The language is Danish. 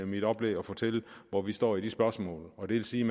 mit oplæg at fortælle hvor vi står i de spørgsmål og det vil sige